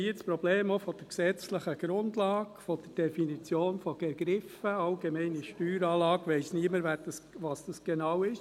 Wir haben hier auch das Problem der gesetzlichen Grundlage, der Definition von Begriffen: «allgemeine Steueranlage» – da weiss niemand, was das genau ist.